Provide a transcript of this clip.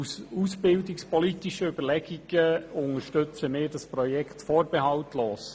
Aus ausbildungspolitischen Überlegungen heraus unterstützen wir das Projekt vorbehaltlos.